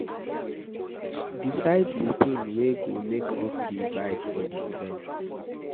Decide the things wey go make up di vibe for di event